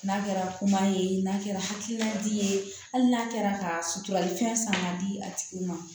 N'a kɛra kuma ye n'a kɛra hakilina di ye hali n'a kɛra ka sutura ni fɛn san ka di a tigi ma